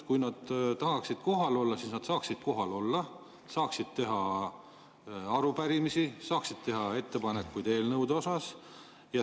Kui nad tahaksid kohal olla, siis nad saaksid kohal olla, saaksid esitada arupärimisi, saaksid teha ettepanekuid eelnõude kohta.